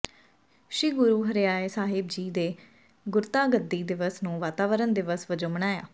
ਸ੍ਰੀ ਗੁਰੂ ਹਰਿਰਾਏ ਸਾਹਿਬ ਜੀ ਦੇ ਗੁਰਤਾਗੱਦੀ ਦਿਵਸ ਨੂੰ ਵਾਤਾਵਾਰਨ ਦਿਵਸ ਵਜੋਂ ਮਨਾਇਆ